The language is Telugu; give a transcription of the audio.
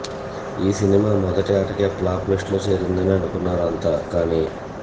ఈ సినిమా మొదటి ఆటకే ఫ్లాప్ లిస్టులో చేరిందని అనుకున్నారు అంతా కానీ